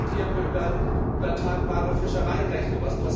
Da diskutieren wir über übertragbare Fischereirechte.